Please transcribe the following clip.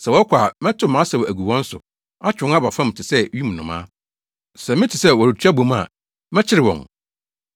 Sɛ wɔkɔ a, mɛtow mʼasau agu wɔn so; atwe wɔn aba fam te sɛ wim nnomaa. Sɛ mete sɛ wɔretu abɔ mu a, mɛkyere wɔn.